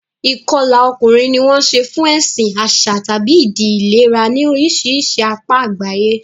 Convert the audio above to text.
Ìkọlà ọkùnrin ni wọ́n ń ṣe fún ẹ̀sìn, àṣà, tàbí ìdí ìlera ní oríṣiríṣi apá àgbáyé.